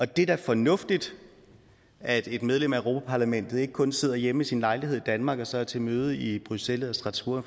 det er da fornuftigt at et medlem af europa parlament ikke kun sidder hjemme i sin lejlighed i danmark og så er til møde i bruxelles eller strasbourg